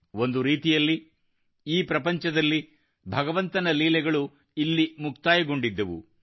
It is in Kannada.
ಒಂದು ರೀತಿಯಲ್ಲಿ ಈ ಪ್ರಪಂಚದಲ್ಲಿ ಭಗವಂತನ ಲೀಲೆಗಳು ಇಲ್ಲಿ ಮುಕ್ತಾಯಗೊಂಡಿದ್ದವು